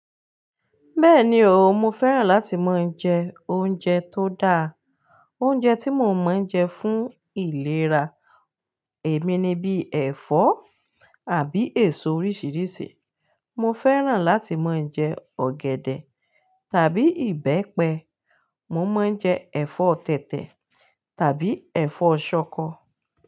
Bẹ́ẹ̀ni o, mo fẹ́ràn láti mọń jẹ oúnjẹ tó dáa. Oúnjẹ tí mo máa ń jẹ fún ìlera èmi ni bíi ẹ̀fọ́ àbí èso oríṣiríṣi. Mo fẹ́ràn láti mọń jẹ ọ̀gẹ̀dẹ̀ tàbí ìbẹ́pẹ, mo mọń jẹ ẹ̀fọ́ tẹ̀tẹ̀ tàbí ẹ̀fọ́ ṣọkọ.